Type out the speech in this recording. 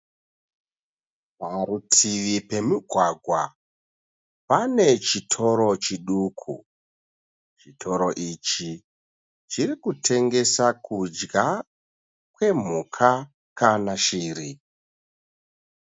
Parutivi pemugwagwa pane chitoro chiduku. Chitoro ichi chiri kutengesa kudya kwemhuka kana shiri.